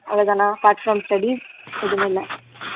அவ்வளவு தானா apart from studies எதுவுமே இல்ல